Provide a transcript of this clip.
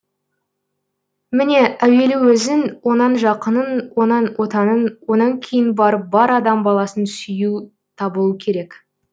міне әуелі өзін онан жақынын онан отанын онан кейін барып бар адам баласын сүю табылу керек